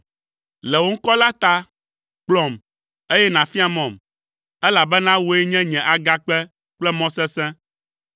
Le wò ŋkɔ la ta, kplɔm, eye nàfia mɔm, elabena wòe nye nye agakpe kple mɔ sesẽ.